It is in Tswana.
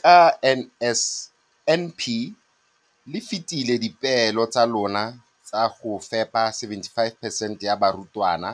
Ka NSNP le fetile dipeelo tsa lona tsa go fepa 75 percent ya barutwana